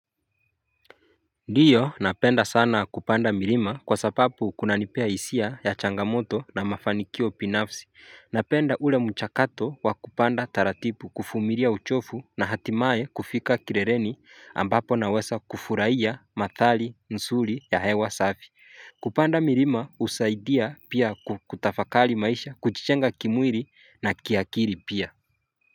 Ndiyo napenda sana kupanda mirima kwa sapap kunanipea hisia ya changamoto na mafanikio pinafsi Napenda ule mchakato wa kupanda taratipu kufumiria uchofu na hatimaye kufika kirereni ambapo nawesa kufurahia mathali nsuri ya hewa safi kupanda mirima husaidia pia ku kutafakali maisha kuchichenga kimwiri na kiakiri pia.